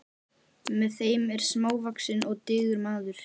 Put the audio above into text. Með þeim er smávaxinn og digur maður.